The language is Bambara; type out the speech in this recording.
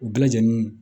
U bɛɛ lajɛlen